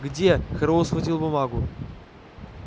где херроуэй схватил бумагу